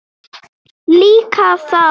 Líka þá.